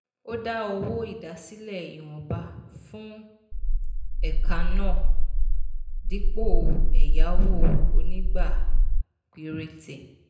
ó dá owó ìdásílẹ̀ ìwọ̀nba fún ẹ̀ka náà dípò ẹ̀yáwó onígbà péréte.